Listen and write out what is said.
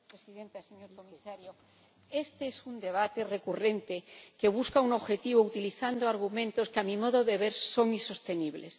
Señora Presidenta, señor Comisario, este es un debate recurrente que busca un objetivo utilizando argumentos que a mi modo de ver son insostenibles.